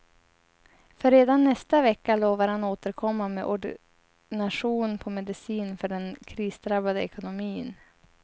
För redan nästa vecka lovar han återkomma med ordination på medicin för den krisdrabbade ekonomin.